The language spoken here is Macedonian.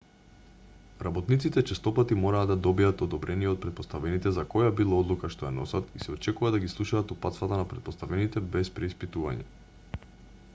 работниците честопати мора да добијат одобрение од претпоставените за која било одлука што ја носат и се очекува да ги слушаат упатствата на претпоставените без преиспитување